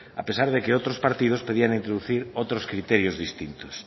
a pesar de que otros partidos pedían introducir otros criterios distintos